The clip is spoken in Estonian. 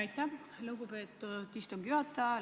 Aitäh, lugupeetud istungi juhataja!